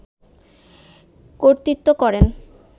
কর্তৃত্ব করেন